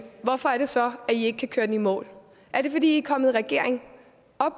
hvorfor er det så at i ikke kan køre den i mål er det fordi kommet i regering